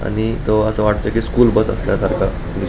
आणि तो अस वाटतोय की स्कूल बस असल्या सारख --